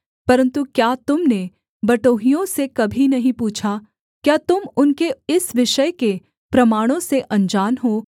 परन्तु क्या तुम ने बटोहियों से कभी नहीं पूछा क्या तुम उनके इस विषय के प्रमाणों से अनजान हो